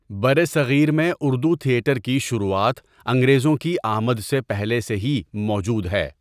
بر صگیر میں اردو تھیٹر کی شروعات انگریزو کی آمد سے پہلے سے ہی موجود ہے.